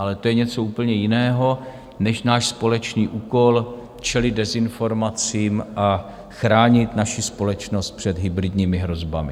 Ale to je něco úplně jiného než náš společný úkol čelit dezinformacím a chránit naši společnost před hybridními hrozbami.